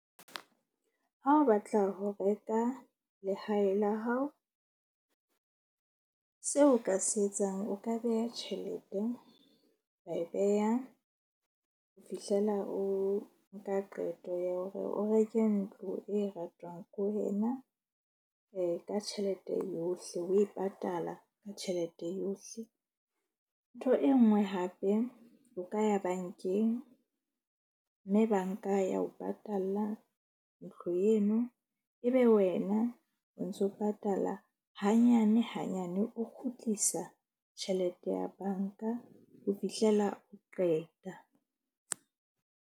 Ha o batla ho reka lehae la hao seo o ka se etsang, o ka beha tjhelete. Wa e beha ho fihlela o nka qeto ya hore o reke ntlo e ratwang ko wena ka tjhelete yohle. O e patala ka tjhelete yohle. Ntho e nngwe hape o ka ya bank-eng mme bank-a ya o patalla ntlo eno. Ebe wena o ntso patala hanyane hanyane, o kgutlisa tjhelete ya bank-a ho fihlela o qeta.